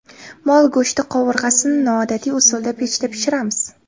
Mol go‘shti qovurg‘asini noodatiy usulda pechda pishiramiz.